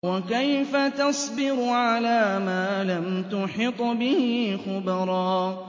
وَكَيْفَ تَصْبِرُ عَلَىٰ مَا لَمْ تُحِطْ بِهِ خُبْرًا